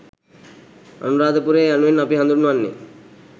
අනුරාධපුරය යනුවෙන් අපි හඳුන්වන්නේ